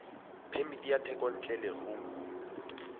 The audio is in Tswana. phemiti ya thekontle ya leruo